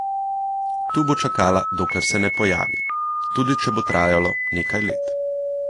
Tu bo čakala, dokler se ne pojavi, tudi če bo trajalo nekaj let.